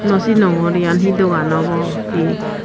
no sinongor iyan he dogaan obo he.